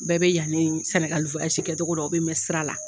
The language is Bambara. Bɛɛ bɛ yan ni Sɛnɛgali kɛcogo dɔn u bɛ mɛɛn sira la